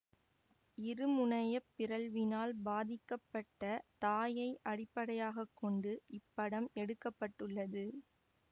இரு முனைய பிறழ்வினால் பாதிக்கப்பட்ட தாயை அடிப்படையாக கொண்டு இப்படம் எடுக்க பட்டுள்ளது